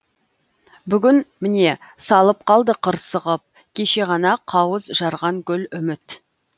бүгін міне салып қалды қырсығып кеше ғана қауыз жарған гүл үміт